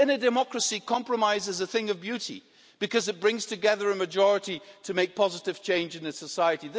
In a democracy, compromise is a thing of beauty because it brings together a majority to make positive change in this society.